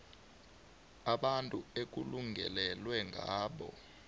abantu ekulingelelwa ngabo